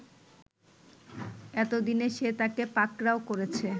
এতদিনে সে তাকে পাকড়াও করেছে